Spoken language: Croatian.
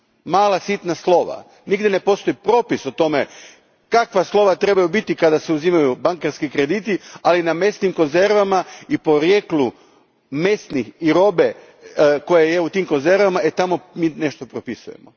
Mala, sitna slova, nigdje ne postoji propis o tome kakva slova trebaju biti kada se uzimaju bankarski krediti, ali na mesnim konzervama i porijeklu mesa i robe koja je u tim konzervama, tamo mi nešto propisujemo.